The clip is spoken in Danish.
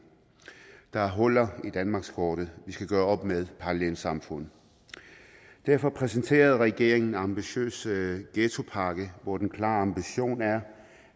der er huller i danmarkskortet vi skal gøre op med parallelsamfund derfor præsenterede regeringen den ambitiøse ghettopakke hvor den klare ambition er